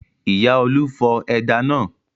Ìyá Olú fọ ẹja náà.